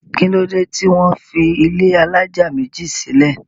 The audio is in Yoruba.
kí ló dé tí wọ́n fi ilé alájà méjì sílẹ̀?